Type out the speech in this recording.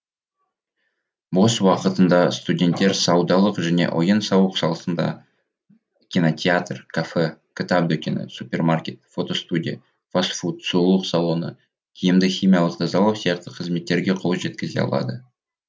бос уақытында студенттер саудалық және ойын сауық саласында кинотеатр кафе кітап дүкені супермаркет фото студия фаст фуд сұлулық салоны киімді химиялық тазалау сияқты қызметтерге қол жеткізе алады